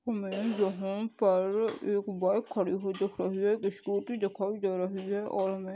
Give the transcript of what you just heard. हममें जो हू पर र र एक बाईक खाडी दिखाई दे राही है सकूटी दिखाई दे राही है। और हमें --